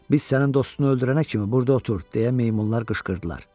Biz sənin dostunu öldürənə kimi burda otur, deyə meymunlar qışqırdılar.